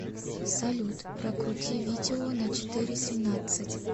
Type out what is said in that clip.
салют прокрути видео на четыре семнадцать